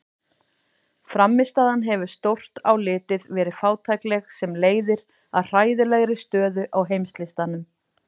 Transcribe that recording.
Frammistaðan hefur stórt á litið verið fátækleg sem leiðir að hræðilegri stöðu á heimslistanum.